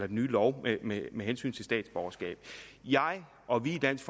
den nye lov med med hensyn til statsborgerskab jeg og vi i dansk